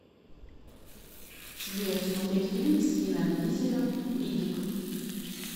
сбер смотреть фильм с винном дизелем риддик